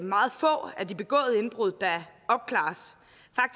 meget få af de begåede indbrud der opklares